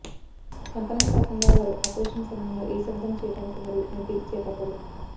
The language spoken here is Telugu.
కంపనం కాకుండా వారు ఆపరేషన్ సమయంలో ఏ శబ్దం చేయడానికి మరియు మడ్డి చేపట్టరు